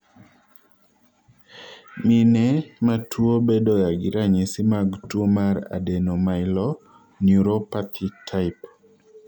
mine matuwo bedogagi ranyisi mag tuwo mar adrenomyeloneuropathy type.